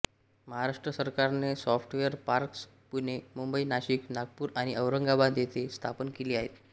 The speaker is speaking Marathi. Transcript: महाराष्ट्र सरकारने सॉफ्टवेअर पार्क्स पुणे मुंबई नाशिक नागपूर आणि औरंगाबाद येथे स्थापन केली आहेत